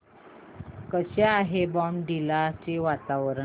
कसे आहे बॉमडिला चे वातावरण